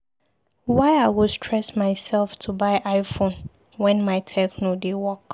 Why I go stress myself to buy i-phone wen my techno dey work?